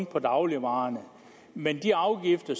på dagligvarer men de afgifter